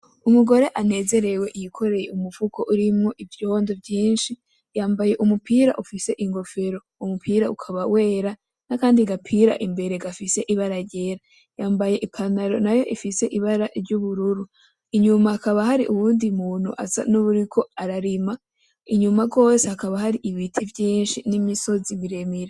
Umugore anezerewe yikorey'umufuko urimwo ivyondo vyinshi yambay' umupira ufis'inkofero uwo mupira ukaba wera nakandi gapira imbere gafis'ibara ryera, yambay'ipantaro nayo ifise ibara ry'ubururu, inyuma hakaba har'uwundi muntu asa nuwuriko ararima inyuma gose hakaba har'ibiti vyinshi n'imisozi miremire.